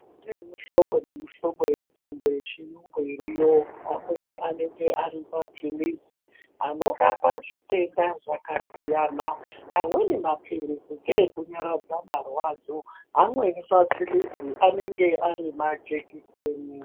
Kune mihlobo nemihlobo yemitombo iriyo pamweni anenge Ari mapirizi anorapa zvitenda Zvakasiyana amweni mapirizi ndeekurapa marwadzo amweni mapirizi anenge Ari majekiseni.